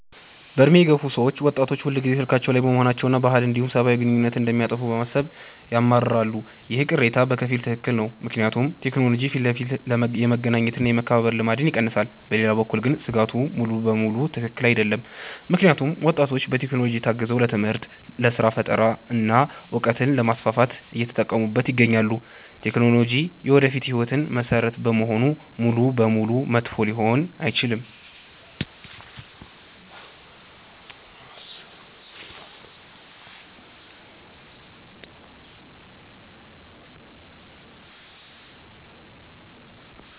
በዕድሜ የገፉ ሰዎች ወጣቶች ሁልጊዜ ስልካቸው ላይ መሆናቸውንና ባህልን እንዲሁም ሰብአዊ ግንኙነትን እንደሚያጠፋ በማሰብ ያማርራሉ። ይህ ቅሬታ በከፊል ትክክል ነው፤ ምክንያቱም ቴክኖሎጂ ፊት ለፊት የመገናኘት እና የመከባበር ልማድን ይቀንሳል። በሌላ በኩል ግን ስጋቱ ሙሉ በሙሉ ትክክል አይደለም፤ ምክንያቱም ወጣቶች በቴክኖሎጂ ታግዘው ለትምህርት፣ ለስራ ፈጠራ እና እውቀትን ለማስፋፋት እየተጠቀሙበት ይገኛሉ። ቴክኖሎጂ የወደፊት ህይወት መሰረት በመሆኑ ሙሉ በሙሉ መጥፎ ሊሆን አይችልም።